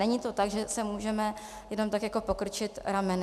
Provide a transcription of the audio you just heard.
Není to tak, že si můžeme jenom tak jako pokrčit rameny.